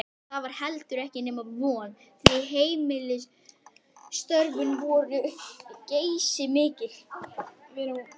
Það var heldur ekki nema von, því heimilisstörfin voru geysimikil.